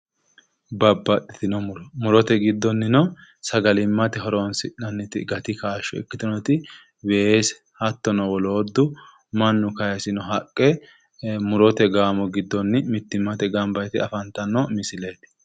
Babbaxxitino muro. Murote giddonnino sagalimmate horoonsi'nanniti gati kaashsho ikkitinoti weese hattono wolootu mannu kayisino haqqe murote gaamo giddonni mittimmate gamba yite afantanno misileeti.